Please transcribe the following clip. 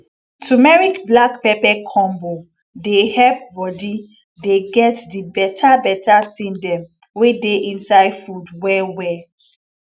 turmeric black pepper combo dey help body dey get di beta beta thing dem wey dey inside food well well